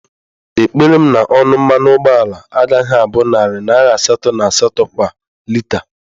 Ekpere m na ọnụ mmanụ ụgbọala agaghị abụ narị naira asatọ na asatọ kwa lita